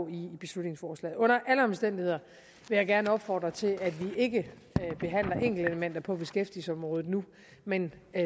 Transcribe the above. i beslutningsforslaget under alle omstændigheder vil jeg gerne opfordre til at vi ikke behandler enkeltelementer på beskæftigelsesområdet nu men